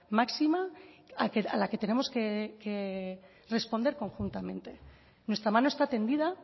máxima a la que tenemos que responder conjuntamente nuestra mano está tendida